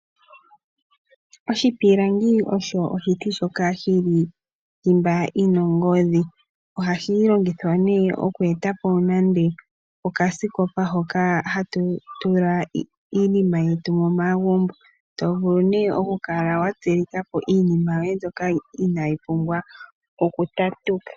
Oshipilangi osho oshiti shoka shili thimba yin ongodhi, ohashi longithwa nee okweetapo nande okasikopa hoka hatu tula iinima yetu momagumbo tovulu nee kukala watsilikapo iinima yoye mbyoka inaayipumbwa okutatuka.